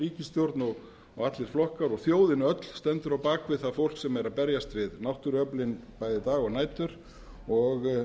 ríkisstjórn allir flokkar og þjóðin öll stendur á bak við það fólk sem er að berjast við náttúruöflin bæði daga og nætur og